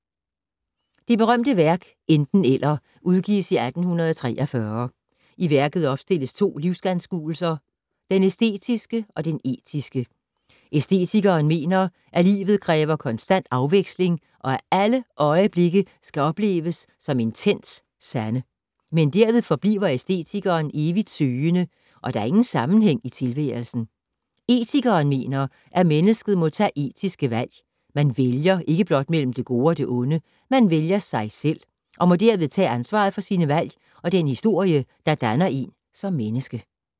Det berømte værk Enten - Eller udgives i 1843. I værket opstilles to livsanskuelser: Den æstetiske og den etiske. Æstetikeren mener, at livet kræver konstant afveksling og at alle øjeblikke skal opleves som intens sande. Men derved forbliver æstetikeren evigt søgende og der er ingen sammenhæng i tilværelsen. Etikeren mener, at mennesket må tage etiske valg. Man vælger ikke blot mellem det gode og det onde. Man vælger ”sig selv” og må derved tage ansvaret for sine valg og den historie, der danner én som menneske.